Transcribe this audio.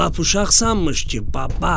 Lap uşaq sanmış ki, baba.